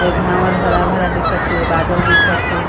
ए भावर हरा -भरा दिखत है बादल दिखत है।